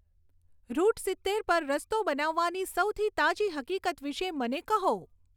route સિત્તેર પર રસ્તો બનાવવાની સૌથી તાજી હકીકત વિષે મને કહો